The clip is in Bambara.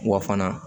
Wa fana